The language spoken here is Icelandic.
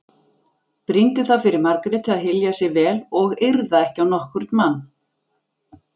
Brýndu það fyrir Margréti að hylja sig vel og yrða ekki á nokkurn mann.